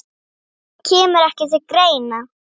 Það kemur ekki til greina